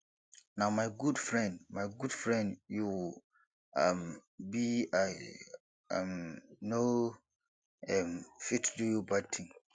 na my good friend my good friend you um be i um no um fit do you bad thing